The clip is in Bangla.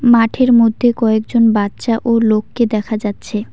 মাঠের মধ্যে কয়েকজন বাচ্চা ও লোককে দেখা যাচ্ছে।